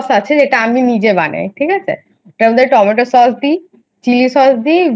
যেটা আমি নিজে বানাই ঠিক আছে তার মধ্যে টমেটো Sauce দিই Chilli Sauce দিই